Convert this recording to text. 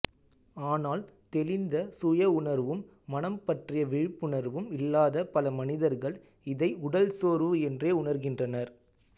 ஆனால் தெளிந்த சுய உணர்வும் மனம் பற்றிய விழிப்புணர்வும் இல்லாத பல மனிதர்கள் இதை உடல் சோர்வு என்றே உணர்கின்றனர்